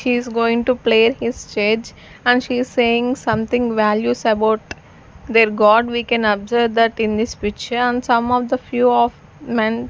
she is going to play his and she is saying something values about their god we can observe that in this picture and some of the few of men --